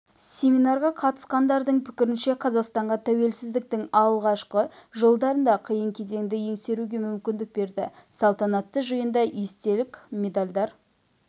семинарға қатысқандардың пікірінше қазақстанға тәуелсіздіктің алғашқы жылдарында қиын кезеңді еңсеруге мүмкіндік берді салтанатты жиында естелік медальдар